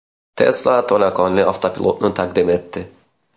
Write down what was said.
Tesla to‘laqonli avtopilotni taqdim etdi.